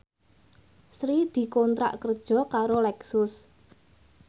Sri dikontrak kerja karo Lexus